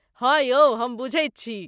हाँ यौ हम बुझैत छी।